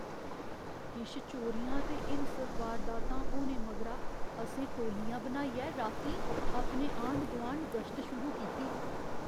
किश चोरियां ते हिंसक वारदातां होने मगरा असें टोल्लियां बनाइयै रातीं अपने आंढ गुआंढ गश्त शुरू कीती।